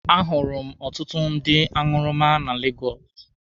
A hụrụ m ọtụtụ ndị aṅụrụma na Legọsụ.